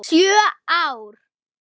Sjö ár?